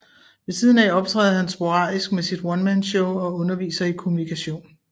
Ved siden af optræder han sporadisk med sit onemanshow og underviser i Kommunikation